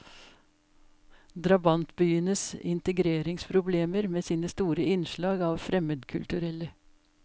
Drabantbyenes integreringsproblemer med sine store innslag av fremmedkulturelle.